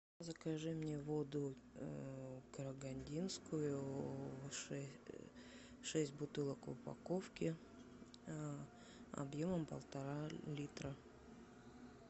закажи мне воду карагандинскую шесть бутылок в упаковке объемом полтора литра